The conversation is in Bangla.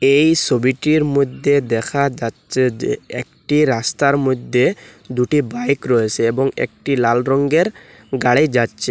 এই সোবিটির মইধ্যে দেখা যাচ্ছে যে একটি রাস্তার মইধ্যে দুটি বাইক রয়েসে এবং একটি লাল রঙ্গের গাড়ি যাচ্ছে।